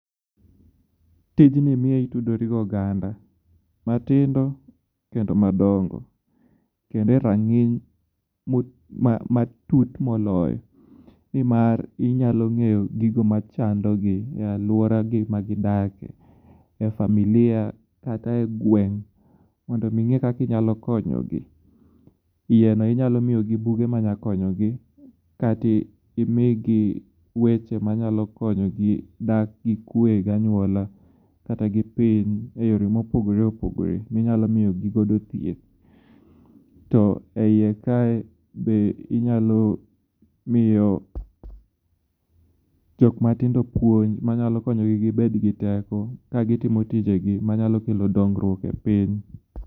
Tijni miyo itudori gi oganda matingo kendo madongo. Kendo e rang'iny matut moloyo. Nimar inyalo ng'eyo gigo machandogi e aluoragi magidakie. E familia kata e gweng' mondo oming'e kaka inyalo konyogi. Yieno inyalo miyogi buge manya konyogi kata katimigi weche manyalo konyogi dak gi kwe gi anywola kata gi piny e yore mopogore opogore minyalo miyogi godo thieth. To eyie kae be inyalo miyo jok matindo puonj manyalo konyogi gibet gi teko kagitimo tijegi manyalo kelo dongruok e piny.